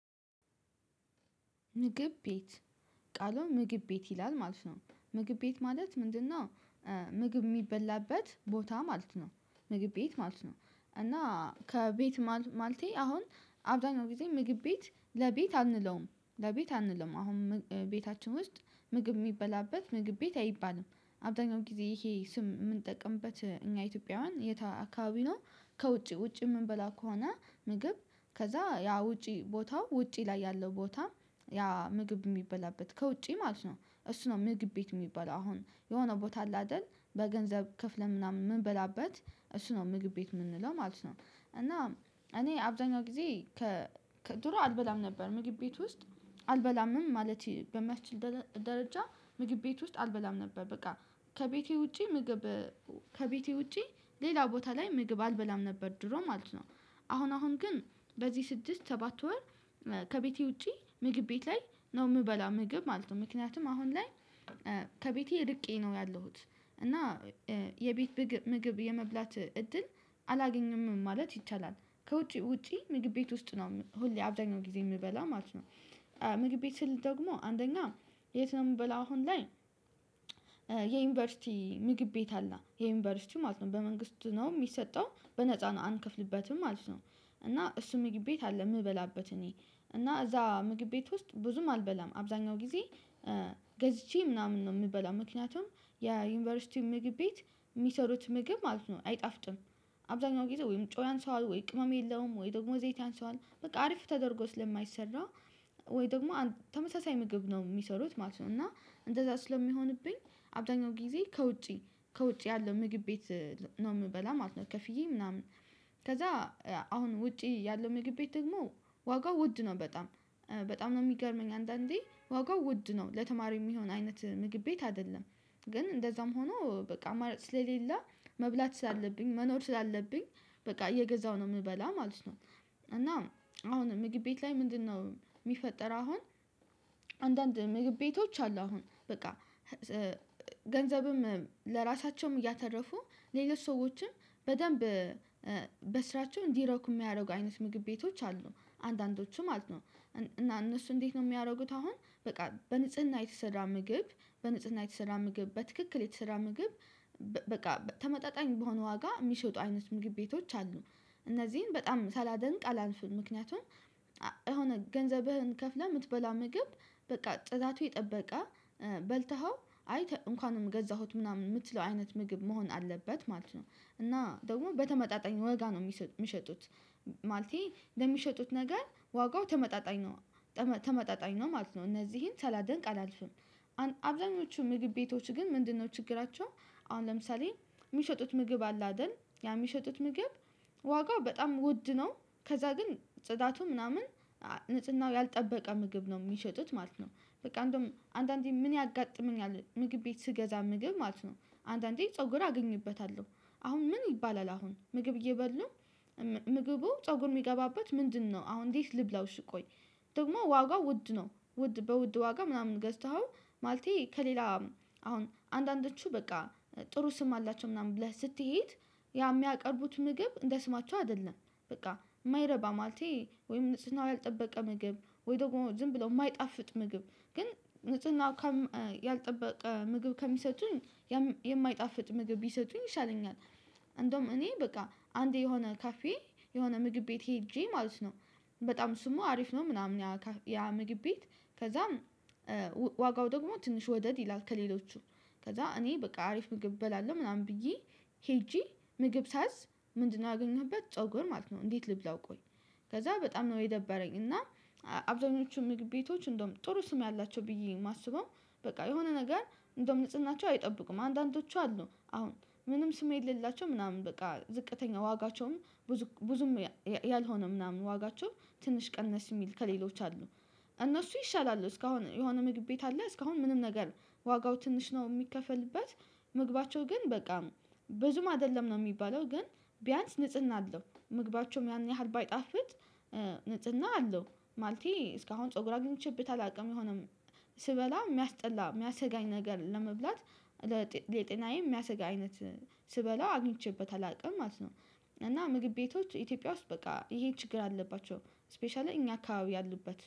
ምግብ ቤት ቃሉ ምግብ ቤት ይላል ማለት ነው ምግብ ቤት ማለት ምንድነው? ምግብ የሚበላበት ቦታ ማለት ነው። ምግብ ቤት ማለት ነው። እና ከቤት ማልቴ አሁን አብዛኛው ጊዜ ምግብ ቤት ለቤት አንለውም ለቤት አንለውም አሁን ቤታችን ውስጥ ምግብ የሚበላበት ምግብ ቤት አይባልም። አብዛኛው ጊዜ ይሄ ስም የምንጠቅምበት እኛ ኢትዮጵያውያን የታ አካባቢ ነው። ከውጪ ውጪ የምንበላ ከሆነ ምግብ ከዛ ያ ውጪ ቦታው ውጪ ላይ ያለው ቦታ ያ ምግብ የሚበላበት ከውጪ ማለት ነው እሱ ነው ምግብ ቤት የሚባለው አሁን የሆነ ቦታ አለ አይደል በገንዘብ ክፍለ ምናምን የምንበላበት እሱ ነው ምግብ ቤት የምንለው ማለት ነው። እና እኔ አብዛኛው ጊዜ ከድሮ አልበላም ነበር ምግብ ቤት ውስጥ አልበላምም ማለት በማስችል ደረጃ ምግብ ቤት ውስጥ አልበላም ነበር። በቃ ከቤቴ ውጪ ምግብ ከቤቴ ውጪ ሌላ ቦታ ላይ ምግብ አልበላም ነበር ድሮ ማለት ነው። አሁን አሁን ግን በዚህ ስድስት ሰባት ወር ከቤቴ ውጪ ምግብ ቤት ላይ ነው የምበላ ምግብ ማለት ነው። ምክንያቱም አሁን ላይ ከቤቴ ርቄ ነው ያለሁት እና የቤት ምግብ የመብላት እድል አላገኘም ማለት ይቻላል። ከውጪ ውጪ ምግብ ቤት ውስጥ ነው ሁሌ አብዳኛው ጊዜ የምበላ ማለት ነው። ምግብ ቤትህ ደግሞ አንደኛ የት ነው የምበላው አሁን ላይ? የዩኒቨርሲቲ ምግብ ቤት አለ የዩኒቨርሲቲ ማለት ነው በመንግስት ነው የሚሰጠው በነፃ ነው አንከፍልበትም ማለት ነው። እና እሱ ምግብ ቤት አለ የምበላበት እኔ እና እዛ ምግብ ቤት ውስጥ ብዙም አልበላም አብዛኛው ጊዜ ገዝቼ ምናምን ነው የምበላው ምክንያቱም የዩኒቨርሲቲ ምግብ ቤት የሚሰሩት ምግብ ማለት ነው አይጣፍጥም። አብዛኛው ጊዜ ወይም ጮያን ሰው አለ ወይ ቅመም የለውም ወይ ደግሞ ዘይት አንሷል በቃ አሪፍ ተደርጎ ስለማይሰራ ወይ ደግሞ ተመሳሳይ ምግብ ነው የሚሰሩት ማለት ነው። እና እንደዛ ስለሚሆንብኝ አብዛኛው ጊዜ ከውጪ ከውጪ ያለው ምግብ ቤት ነው የምበላ ማለት ነው። ከፍዬ ምናምን ከዛ አሁን ውጪ ያለው ምግብ ቤት ደግሞ ዋጋው ውድ ነው በጣም በጣም የሚገርመኝ አንዳንዴ ዋጋው ውድ ነው ለተማሪው የሚሆን አይነት ምግብ ቤት አይደለም። ግን እንደዛም ሆኖ በቃ ማለት ስለሌለ መብላት ስላለብኝ መኖር ስላለብኝ በቃ እየገዛሁ ነው የምበላ ማለት ነው። እና አሁን ምግብ ቤት ላይ ምንድነው? የሚፈጠር አሁን አንዳንድ ምግብ ቤቶች አሉ አሁን በቃ። ገንዘብም ለራሳቸውም እያተረፉ ለየት ሰዎችም በደንብ በስራቸው እንዲረኩ የሚያደርጉ አይነት ምግብ ቤቶች አሉ አንዳንዶቹም አሉ። እና እነሱ እንዴት ነው የሚያደርጉት? አሁን በቃ በንጽህና የተሰራ ምግብ በንጽህና የተሰራ ምግብ በትክክል የተሰራ ምግብ በቃ ተመጣጣኝ በሆነ ዋጋ የሚሸጡ አይነት ምግብ ቤቶች አሉ። እነዚህን በጣም ሳላደንቅ አላንፍን ምክንያቱም። የሆነ ገንዘብህን ከፍለህ የምትበላ ምግብ በቃ ጥዛቱ የጠበቀ በልተኸው አይ እንኳን ነው የምገዛሁት ምናምን የምትለው አይነት ምግብ መሆን አለበት ማለት ነው። እና ደግሞ በተመጣጣኝ ወጋ ነው የሚሸጡት ማለቴ እንደሚሸጡት ነገር ዋጋው ተመጣጣኝ ነው። ተመጣጣኝ ነው ማለት ነው እነዚህን ሳላደንቅ አላልፍም። አብዛኞቹ ምግብ ቤቶች ግን ምንድነው ችግራቸው? አሁን ለምሳሌ የሚሸጡት ምግብ አለ አይደል ያ የሚሸጡት ምግብ ዋጋው በጣም ውድ ነው። ከዛ ግን ጽዳቱ ምናምን ንጽህናው ያልጠበቀ ምግብ ነው የሚሸጡት ማለት ነው። በቃ እንደውም አንዳንዴ ምን ያጋጥመኛል ምግብ ቤት ስገዛ ምግብ ማለት ነው። አንዳንዴ ፀጉር አገኝበታለሁ። አሁን ምን ይባላል አሁን ምግብ እየበሉ ምግቡ ፀጉር የሚገባበት ምንድነው? አሁን እንዴት ልብላው ስቆይ። ደግሞ ዋጋው ውድ ነው ውድ በውድ ዋጋ ምናምን ገዝተኸው ማለቴ ከሌላ አሁን አንዳንዶቹ በቃ ጥሩ ስም አላቸው ምናምን ብለህ ስትሄድ ያ የሚያቀርቡት ምግብ እንደ ስማቸው አይደለም። በቃ የማይረባ ማለቴ ወይም ንጽህናው ያልጠበቀ ምግብ ወይ ደግሞ ዝም ብሎ የማይጣፍጥ ምግብ ግን ንጽህናው ያልጠበቀ ምግብ ከሚሰጡኝ። የማይጣፍጥ ምግብ ቢሰጡኝ ይሻለኛል። እንደውም እኔ በቃ አንዴ የሆነ ካፌ የሆነ ምግብ ቤት ሄጄ ማለት ነው። በጣም እሱም አሪፍ ነው ምናምን ያ ምግብ ቤት። ከዛም ዋጋው ደግሞ ትንሽ ወደድ ይላል ከሌሎቹ ከዛ እኔ በቃ አሪፍ ብበላለሁ ምናምን ብዬ ሄጄ ምግብ ሳዝ። ምንድነው አገኘሁበት ፀጉር ማለት ነው። እንዴት ልብላው ቆይ? ከዛ በጣም ነው የደበረኝ። እና አብዛኞቹ ቤቶች እንደውም ጥሩ ስም ያላቸው ብዬ የማስበው በቃ የሆነ ነገር እንደውም ንጽህናቸው አይጠብቁም። አንዳንዶቹ አሉ አሁን ምንም ስም የሌላቸው ምናምን በቃ ዝቅተኛ ዋጋቸውም ብዙ ብዙም ያልሆነ ምናምን ዋጋቸው ትንሽ ቀነስ የሚል ከሌሎች አሉ። እነሱ ይሻላሉ እስካሁን የሆነ ምግብ ቤት አለ እስካሁን ምንም ነገር ዋጋው ትንሽ ነው የሚከፈልበት። ምግባቸው ግን በቃ ብዙም አይደለም ነው የሚባለው ግን ቢያንስ ንጽህና አለው ምግባቸውም ያን ያህል ባይጣፍጥ ንጽጽና አለው። ማለቴ እስካሁን ፀጉር አግኝቼብህ ታላቅም የሆነም ስበላ የሚያስጠላ የሚያስጋኝ ነገር ለመብላት ለጤናዬ የሚያስጋ አይነት ስበለው አግኝቼበት አላውቅም ማለት ነው። እና ምግብ ቤቶች ኢትዮጵያ ውስጥ በቃ ይሄን ችግር አለባቸው። ስፔሻሊ እኛ አካባቢ ያሉበት